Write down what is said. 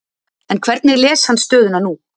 En hvernig les hann stöðuna nú?